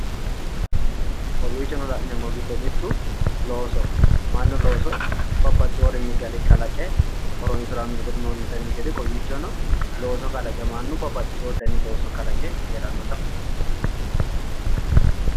Konniicho la'neemmori giddo kuni loosoho mannu looso babbaxxeewo garinni kalaqe noontenni gede kawiichono babbaxxeewo dani looso kalaqe noota leellishshano.